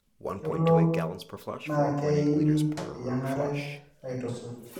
kelo naakeyieni eyiangare aitusuj